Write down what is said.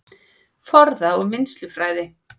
Forða- og vinnslufræði